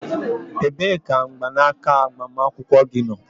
Ebee ka mgbanaka agbamakwụkwọ gị nọ?